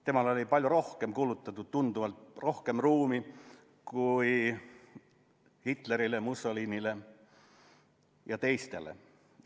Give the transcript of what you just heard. Temale oli palju rohkem ruumi kulutatud kui Hitlerile, Mussolinile ja teistele.